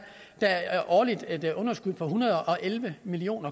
årligt et underskud på en hundrede og elleve million